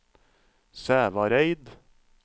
Sævareid